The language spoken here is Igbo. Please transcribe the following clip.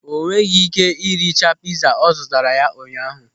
O nweghị ị́ké iricha pịza ọ zụtara ya ụnyaahụ.